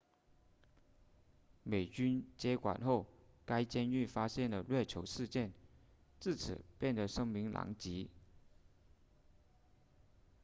美军接管后该监狱发现了虐囚事件自此变得声名狼藉